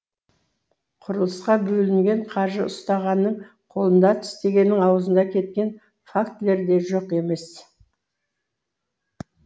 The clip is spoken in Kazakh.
құрылысқа бөлінген қаржы ұстағанның қолында тістегеннің аузында кеткен фактілер де жоқ емес